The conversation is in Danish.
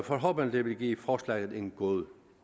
forhåbentlig vil give forslaget en god